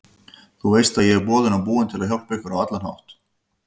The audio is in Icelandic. Þú veist ég er boðinn og búinn til að hjálpa ykkur á allan hátt.